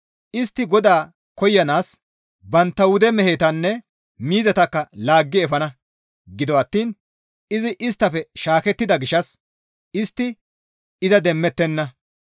Istti GODAA koyanaas bantta wude mehetanne miizatakka laaggi efana; gido attiin izi isttafe shaakettida gishshas istti iza demmettenna.